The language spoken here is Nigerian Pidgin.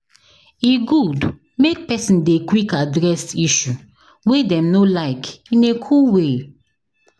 E good make pesin dey quick address issue wey dem no like in a cool way